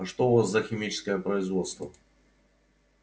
а что у вас за химическое производство